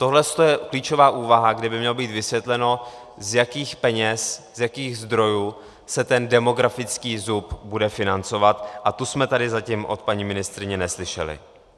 Tohle je klíčová úvaha, kde by mělo být vysvětleno, z jakých peněz, z jakých zdrojů se ten demografický zub bude financovat, a to jsme tady zatím od paní ministryně neslyšeli.